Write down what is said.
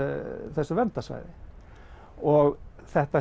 þessu verndarsvæði og þetta